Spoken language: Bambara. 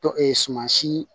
Tɔ suman si